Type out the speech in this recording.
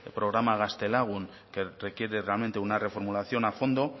programa gaztelagun que requiere realmente una reformulación a fondo